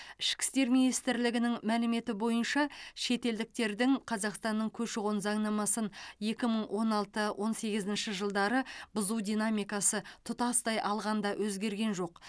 ішкі істер министрлігінің мәліметі бойынша шетелдіктердің қазақстанның көші қон заңнамасын екі мың он алты он сегізінші жылдары бұзу динамикасы тұтастай алғанда өзгерген жоқ